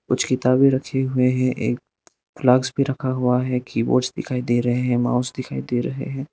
कुछ किताबें रखे हुए हैं एक फ़्लास्क भी रखा हुआ है कीबोर्ड दिखाई दे रहे हैं माउस दिखाई दे रहे हैं।